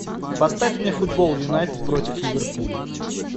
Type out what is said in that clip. поставь мне футбол юнайтед против ливерпуля